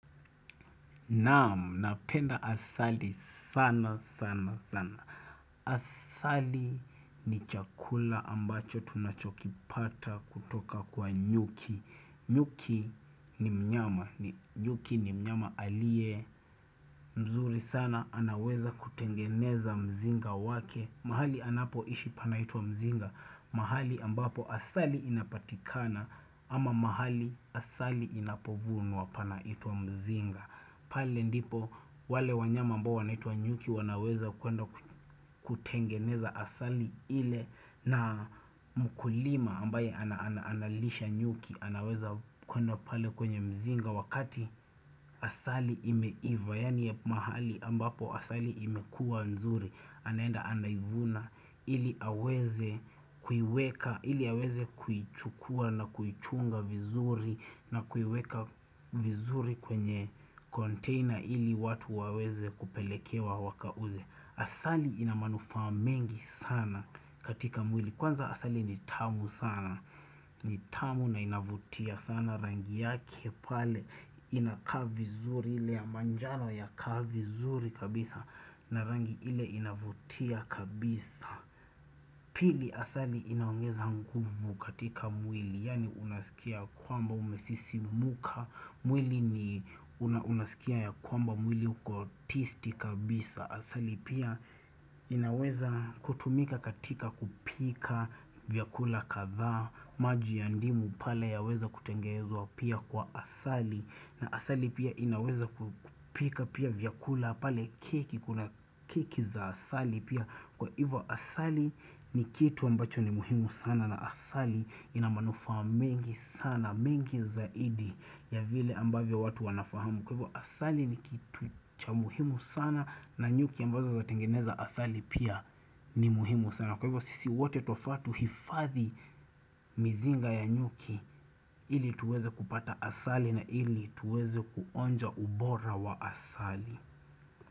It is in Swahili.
Naam, napenda asali sana, sana, sana Asali ni chakula ambacho tunachokipata kutoka kwa nyuki nyuki ni mnyama, nyuki ni mnyama alie mzuri sana, anaweza kutengeneza mzinga wake mahali anapo ishi pana itwa mzinga mahali ambapo asali inapatikana ama mahali asali inapovunwa panaitwa mzinga pale ndipo wale wanyama ambao wanaitwa nyuki wanaweza kuenda kutengeneza asali ile na mkulima ambaye analisha nyuki anaweza kuenda pale kwenye mzinga wakati asali ime iva yani mahali ambapo asali imekua nzuri anaenda anaivuna ili aweze kuiweka ili aweze kuichukua na kuichunga vizuri na kuiweka vizuri kwenye container ili watu waweze kupelekewa waka uze Asali inamanufaa mengi sana katika mwili kwanza asali nitamu sana nitamu na inavutia sana rangi yake pale inakaa vizuri ile ya manjano ya kaa vizuri kabisa na rangi ile inavutia kabisa Pili asali inaongeza nguvu katika mwili Yani unasikia kwamba umesisi muka mwili ni unasikia ya kwamba mwili uko tisti kabisa Asali pia inaweza kutumika katika kupika vyakula kadhaa maji ya ndimu pale ya weza kutengenezwa pia kwa asali na asali pia inaweza kupika pia vyakula pale keki kuna keki za asali pia Kwa hivyo asali ni kitu ambacho ni muhimu sana na asali inamanufaa mengi sana mengi zaidi ya vile ambavyo watu wanafahamu Kwa hivyo asali ni kitu cha muhimu sana na nyuki ambazo zinatengeneza asali pia ni muhimu sana na kwa hivyo sisi wote twafaa tuhifadhi mizinga ya nyuki ili tuweze kupata asali na ili tuweze kuonja ubora wa asali.